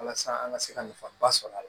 Walasa an ka se ka nafaba sɔrɔ a la